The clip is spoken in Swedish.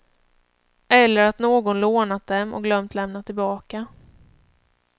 Eller att någon lånat dem och glömt lämna tillbaka.